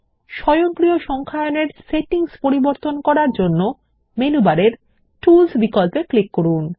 স্বয়ংক্রিয় সংখ্যায়ন -এর সেটিংস পরিবর্তন করার জন্য মেনু বারে টুলস বিকল্পে ক্লিক করুন